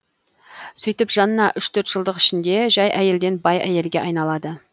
сөйтіп жанна үш төрт жылдық ішінде жай әйелден бай әйелге айналады